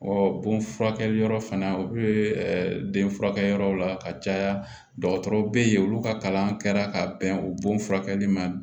bon furakɛli yɔrɔ fana u bɛ den furakɛ yɔrɔw la ka caya dɔgɔtɔrɔw bɛ yen olu ka kalan kɛra ka bɛn o bon furakɛli ma